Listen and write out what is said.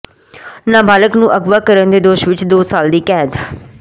ਨਾਬਾਲਗਾ ਨੂੰ ਅਗਵਾ ਕਰਨ ਦੇ ਦੋਸ਼ ਵਿਚ ਦੋ ਸਾਲ ਦੀ ਕੈਦ